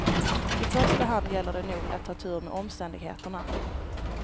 I första hand gäller det nog att ha tur med omständigheterna.